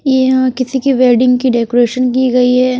यहां किसी की वेडिंग की डेकोरेशन की गई है।